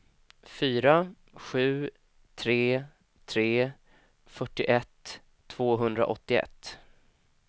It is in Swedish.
fyra sju tre tre fyrtioett tvåhundraåttioett